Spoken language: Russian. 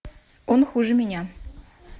он хуже меня